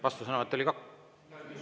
Vastusõnavõtt oli kaks?